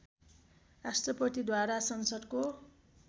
राष्ट्रपतिद्वारा संसद्को